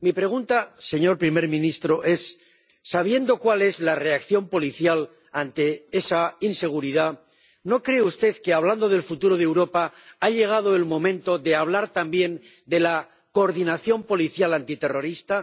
Mi pregunta, señor primer ministro, es sabiendo cuál es la reacción policial ante esa inseguridad, ¿no cree usted que, hablando del futuro de Europa, ha llegado el momento de hablar también de la coordinación policial antiterrorista?